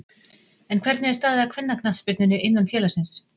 En Hvernig er staðið að kvennaknattspyrnunni innan félagsins?